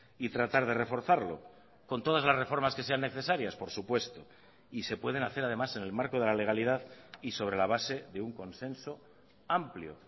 y tratar de reforzarlo con todas las reformas que sean necesarias por supuesto y se pueden hacer además en el marco de la legalidad y sobre la base de un consenso amplio